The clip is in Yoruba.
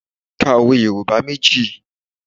Ka òwe Yorùbá méjì